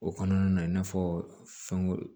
O kɔnɔna na i n'a fɔ fɛn